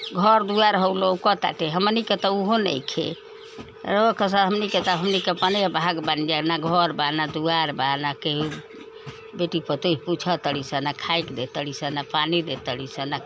घर दुवर हऊ लौउकता हमनी त उहो नाइखे राऊरा हमनी हमनी का त भाग बानी जा ना घर बा। ना दुवार बा। ना केहु बेटी पतोह पुछतालीसन। ना खाए के दे तलीसन। ना पानी देतलीसन। ना --